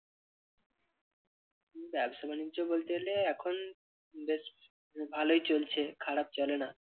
ব্যবসা-বাণিজ্য বলতে গেলে এখন বেশ ভালোই চলছে খারাপ চলে না।